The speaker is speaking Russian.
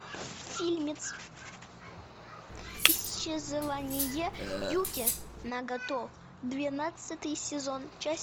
фильмец исчезновение юки нагато двенадцатый сезон часть